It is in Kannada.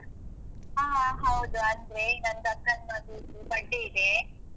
ಹ, ಹೌದು. ಅಂದ್ರೆ ನಂದಕ್ಕನ ಮಗುವದ್ದು birthday ಇದೆ.